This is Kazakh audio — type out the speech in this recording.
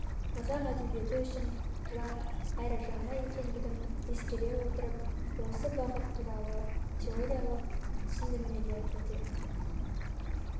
қазақ әдебиеті үшін жат әрі жаңа екендігін ескере отырып осы бағыт туралы теориялық түсіндірмелерді де